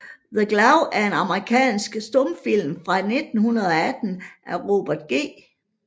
The Claw er en amerikansk stumfilm fra 1918 af Robert G